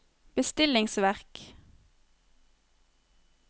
bestillingsverk